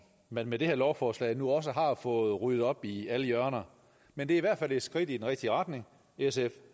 man med det her lovforslag nu også har fået ryddet op i alle hjørner men det er i hvert fald et skridt i den rigtige retning sf